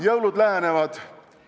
Jõulud lähenevad.